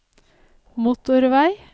motorvei